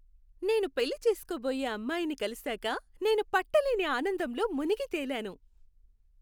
నేను పెళ్లి చేసుకోబోయే అమ్మాయిని కలిశాక నేను పట్టలేని ఆనందంలో మునిగితేలాను.